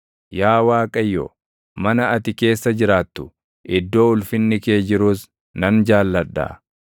Yaa Waaqayyo, mana ati keessa jiraattu, iddoo ulfinni kee jirus nan jaalladha.